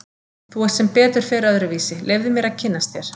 Þú ert sem betur fer öðruvísi, leyfðu mér að kynnast þér.